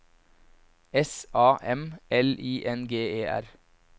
S A M L I N G E R